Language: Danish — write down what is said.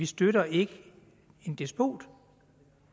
støtter en despot